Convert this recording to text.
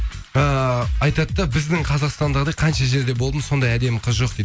э айтады да біздің қазақстандағыдай қанша жерде болдым сондай әдемі қыз жоқ дейді